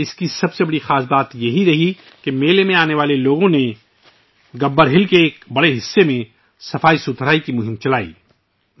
اس کا سب سے نمایاں پہلو یہ تھا کہ میلے میں آنے والے لوگوں نے گبّر پہاڑی کے ایک بڑے حصے میں صفائی مہم کا انعقاد کیا